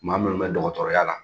Maa munnu bɛ dɔgɔtɔrɔya la